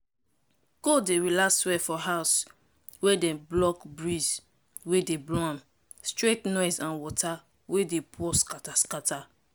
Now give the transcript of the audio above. goat dey relax well for house wey dem block breeze wey dey blow am straight noise and water wey dey pour scatter scatter.